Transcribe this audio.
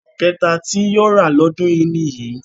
Ọkọ̀ kẹta tí yóò rà lọ́dún yìí nìyí